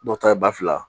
Dɔw ta ye ba fila